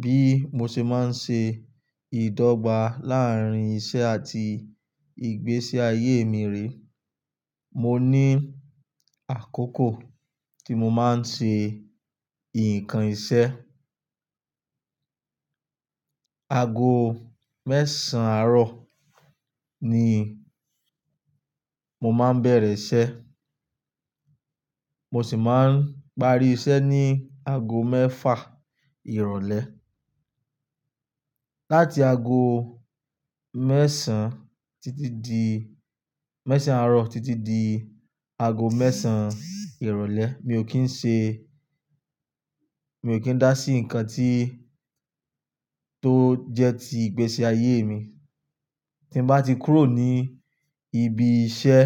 Bí mo ṣe máa ń ṣe ìdọ́gba láàárín iṣẹ́ àti ìgbésí ayé èmi re, mo ní àkókò tí mo máa ń ṣe nǹkan iṣẹ́. Ago mẹ́sàn àárọ̀ ni mo máa ń bẹ̀rẹ̀ iṣẹ́, mo sì máa ń parí iṣẹ́ ní ago mẹ́fà ìrọ̀lẹ́. Láti ago mẹ́sàn títí di, mẹ́sàn àárọ̀ títí di ago mẹ́sàn ìrọ̀lẹ́ mi ò kì í ṣe, mi ò kì í dá sí nǹkan tí tó jẹ́ ti ìgbésí ayé mi. Tí bá ti kúrò ní ibi iṣẹ́